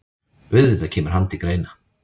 Auðvitað kemur hann til greina.